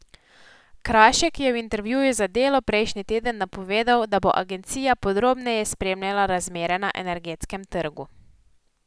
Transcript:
Krašek je v intervjuju za Delo prejšnji teden napovedal, da bo agencija podrobneje spremljala razmere na energetskem trgu.